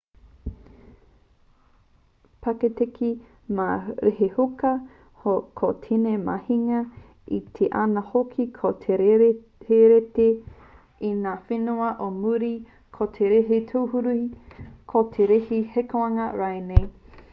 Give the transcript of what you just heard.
paketeke mā te retihuka ko tēnei mahinga e kī ana hoki ko te reti reti i ngā whenua o muri ko te reti tūruhi ko te reti hīkoinga rānei